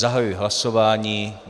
Zahajuji hlasování.